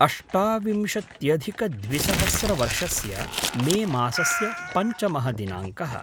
अष्टाविंशत्यधिकद्विसहस्रवर्षस्य मे मासस्य पञ्चमः दिनाङ्कः